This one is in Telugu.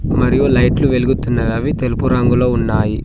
మరియు లైట్లు వెలుగుతున్నవి అవి తెలుపు రంగులో ఉన్నాయి.